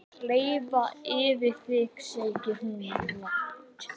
Leið yfir þig segir hún lágt.